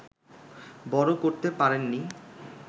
বড় করতে পারেননি